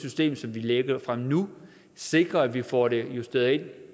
system som vi lægger fra nu sikrer at vi får det justeret ind